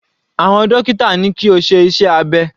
Àwọn dókítà ní kí ó ṣe iṣẹ́ abẹ.